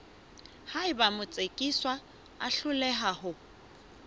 haeba motsekiswa a hloleha ho